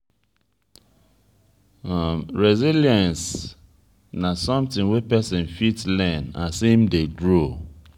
resilience na something wey person fit learn as im dey grow